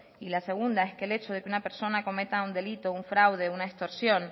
y la segunda es que el hecho de que una persona cometa un delito un fraude una extorsión